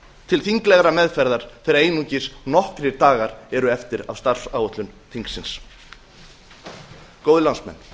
til þinglegrar meðferðar þegar einungis nokkrir eru eftir af starfsáætlun þingsins góðir landsmenn